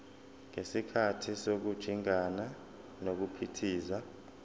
ngesikhathi sokujingana nokuphithiza